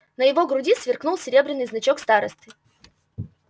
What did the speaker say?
на его груди сверкнул серебряный значок старосты